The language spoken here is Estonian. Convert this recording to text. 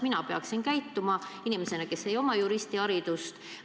Kuidas peaksin mina käituma inimesena, kellel ei ole juristiharidust?